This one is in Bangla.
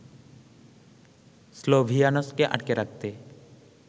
স্লোভিয়ানস্কে আটকে রাখতে